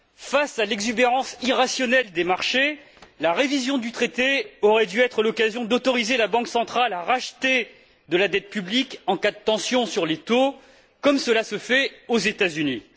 Face à l'exubérance irrationnelle des marchés, la révision du traité aurait dû être l'occasion d'autoriser la Banque centrale à racheter de la dette publique en cas de tension sur les taux, comme cela se fait aux États Unis.